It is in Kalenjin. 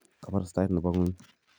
Kabarastaet nebo ngwony